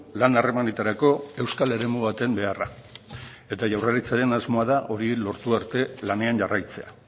lan harremanetarako euskal eremu baten beharra eta jaurlaritzaren asmoa da hori lortu arte lanean jarraitzea